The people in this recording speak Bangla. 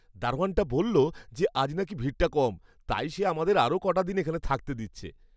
দারোয়ানটা বললো যে আজ নাকি ভিড়টা কম। তাই সে আমাদের আরও কটা দিন এখানে থাকতে দিচ্ছে।